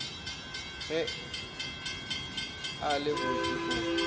ge a le botse o